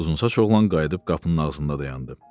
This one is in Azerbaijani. Uzunsaç oğlan qayıdıb qapının ağzında dayandı.